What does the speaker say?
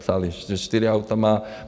Psali, že čtyři auta má.